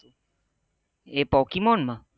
એ pokemon માં